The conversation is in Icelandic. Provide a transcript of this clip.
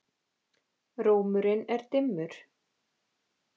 Rómurinn er dimmur.